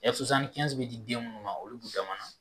Ɛ bɛ di den minnu ma olu b'u damana